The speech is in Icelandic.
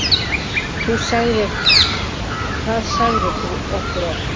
Það sagðir þú okkur oft.